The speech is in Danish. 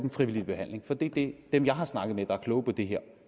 i frivillig behandling for det er det dem jeg har snakket med der er kloge på det her